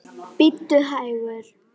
Bíddu hægur.